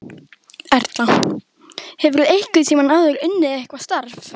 Erla: Hefurðu einhvern tímann áður unnið eitthvað starf?